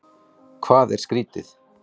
Hvað er skrýtið?